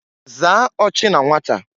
Zaa ochi na nwata!